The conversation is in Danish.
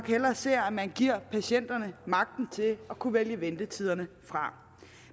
hellere ser at man giver patienterne magten til at kunne vælge ventetiderne fra